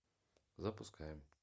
запускаем